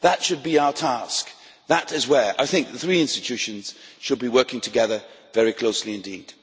That should be our task. That is where I think the three institutions should be working together very closely indeed.